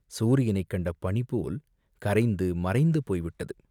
சூரியனைக் கண்ட பனிபோல் கரைந்து, மறைந்து போய்விட்டது!